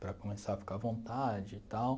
Para começar a ficar à vontade e tal.